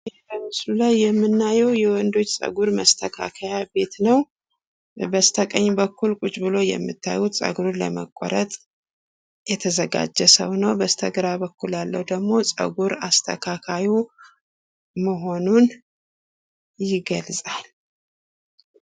በምስሉ ላይ የምናየው የወንዶች ጸጉር መስተካከያ ቤት ነው። በስተቀኝ በኩል ቁጭ ብሎ የምታዩት ጸጉሩን ለመቆረጥ የተዘጋጀ ሰው ነው በስተግራ በኩል ደግሞ ጸጉር አስተካካዩ መሆኑን ይገልጻል።